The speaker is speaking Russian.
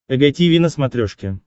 эг тиви на смотрешке